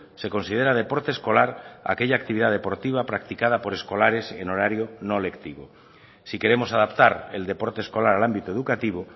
se considera deporte escolar aquella actividad deportiva practicada por escolares en horario no lectivo si queremos adaptar el deporte escolar al ámbito educativo